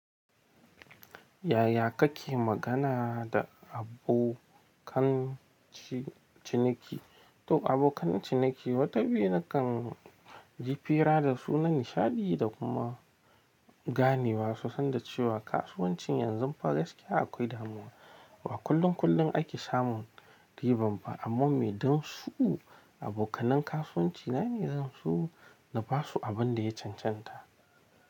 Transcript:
Yaya kake magana da abokan ciniki? To abokan ciniki wata biyi nakan ji fira da su na nishaɗi da kuma ganewa su, sanda cewa kasuwancin yanzu fa gaskiya akwai damuwa. Ba kullun kullun ake samun riban ba, amma me dam su abokanan kasuwanci na ne zan so na basu abin da ya cancanta.